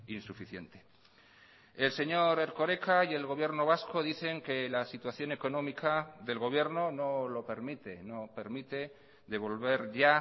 insuficiente el señor erkoreka y el gobierno vasco dicen que la situación económica del gobierno no lo permite no permite devolver ya